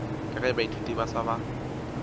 ka ge baithuti ba sa